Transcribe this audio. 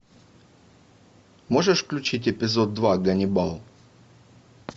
можешь включить эпизод два ганнибал